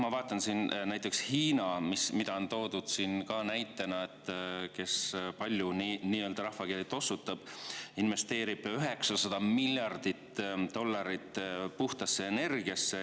Ma vaatan, et näiteks Hiina, keda on toodud näitena ja kes rahvakeeli palju tossutab, investeerib 900 miljardit dollarit puhtasse energiasse.